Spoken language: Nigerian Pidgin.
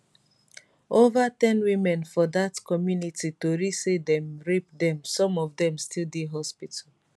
ova ten women for dat community tori say dem rape dem some of dem still dey hospital